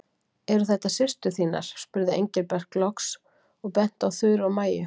Eru þetta systur þínar? spurði Engilbert loks og benti á Þuru og Maju.